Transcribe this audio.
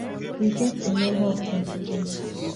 we get a number of contingencies